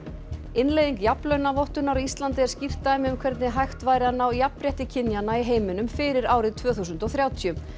innleiðing jafnlaunavottunar á Íslandi er skýrt dæmi um hvernig hægt væri að ná jafnrétti kynjanna í heiminum fyrir árið tvö þúsund og þrjátíu